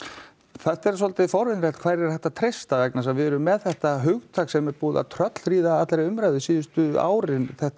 þetta er svolítið forvitnilegt hverju er hægt að treysta vegna þess að við erum með þetta hugtak sem er búið að tröllríða allri umræðu síðustu árin þetta